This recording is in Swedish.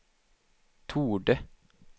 torde